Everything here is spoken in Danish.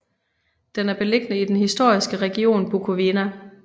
Den er beliggende i den historiske region Bukovina